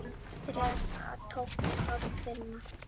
Þrekið tók að dvína.